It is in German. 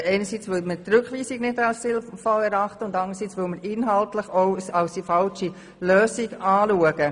Einerseits, weil wir die Rückweisung nicht als sinnvoll erachten, anderseits weil wir in dieser inhaltlich die falsche Lösung sehen.